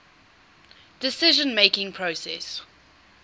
decision making process